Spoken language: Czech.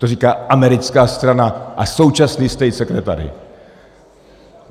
To říká americká strana a současný state secretary.